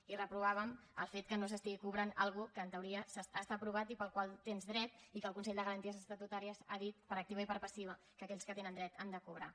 i reprovàvem el fet que no s’estigui cobrant una cosa que en teoria està aprovada i a la qual tens dret i que el consell de garanties estatutàries ha dit per activa i per passiva que aquells que tenen dret han de cobrar